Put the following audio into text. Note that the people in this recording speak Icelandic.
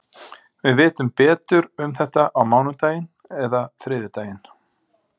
Við vitum betur um þetta á mánudaginn eða þriðjudaginn.